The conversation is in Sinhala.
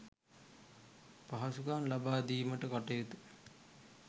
පහසුකම් ලබා දීමට කටයුතු